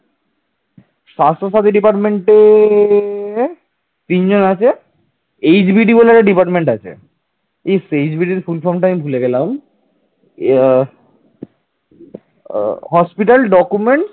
hospital document